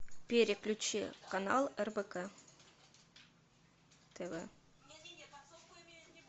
переключи канал рбк тв